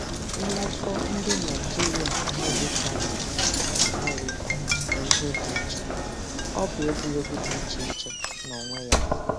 Nlafọ̀ ndị Naịjíríà-Amerịkà nwụrụ na Amerịkà bụ ihe dị iche, ọ̀ bụ egwuregwu dị iche iche n’onwe ya.